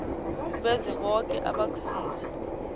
uveze boke abakusiza